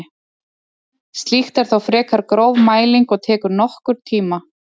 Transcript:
Slíkt er þó frekar gróf mæling og tekur nokkurn tíma.